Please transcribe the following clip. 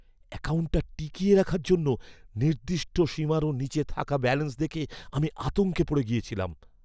অ্যাকাউন্টটা টিকিয়ে রাখার জন্য নির্দিষ্ট সীমারও নীচে থাকা ব্যালেন্স দেখে আমি আতঙ্কে পড়ে গিয়েছিলাম।